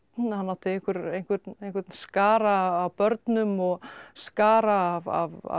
hann átti einhvern einhvern einhvern skara af börnum og skara af